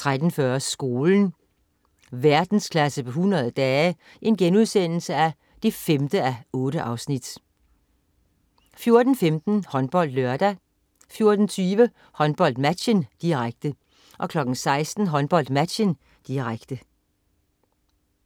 13.40 Skolen. Verdensklasse på 100 dage 5:8* 14.15 HåndboldLørdag 14.20 HåndboldMatchen, direkte 16.00 HåndboldMatchen, direkte